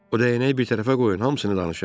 O dəyənək bir tərəfə qoyun, hamısını danışım.